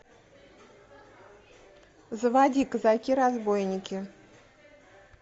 заводи казаки разбойники